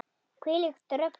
Hvílíkt rugl.